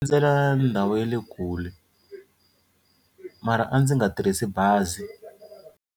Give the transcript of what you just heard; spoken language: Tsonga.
Endzela ndhawu ya le kule mara a ndzi nga tirhisi bazi.